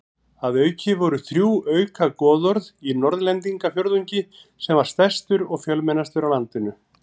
Að auki voru þrjú auka goðorð í Norðlendingafjórðungi sem var stærstur og fjölmennastur á landinu.